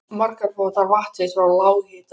Margar fá þær vatn sitt frá lághitasvæðum.